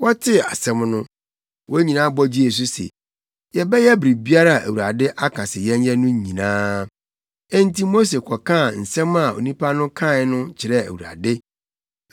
Wɔtee asɛm no, wɔn nyinaa bɔ gyee so se, “Yɛbɛyɛ biribiara a Awurade aka sɛ yɛnyɛ no nyinaa.” Enti Mose kɔkaa nsɛm a nnipa no aka no kyerɛɛ Awurade.